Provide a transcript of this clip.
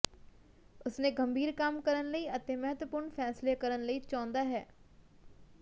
ਉਸ ਨੇ ਗੰਭੀਰ ਕੰਮ ਕਰਨ ਲਈ ਅਤੇ ਮਹੱਤਵਪੂਰਨ ਫੈਸਲੇ ਕਰਨ ਲਈ ਚਾਹੁੰਦਾ ਹੈ